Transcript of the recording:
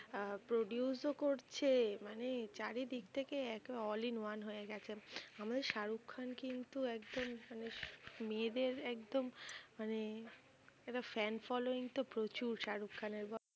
আহ produce ও করছে, মানে চারিদিক থেকে একে all in one হয়েগেছে। আমিও শাহরুখ খান কিন্তু একজন মানে মেয়েদের একদম মানে একটা ফ্যান following তো প্রচুর। শাহরুখ খানের বল।